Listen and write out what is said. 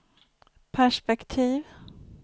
perspektiv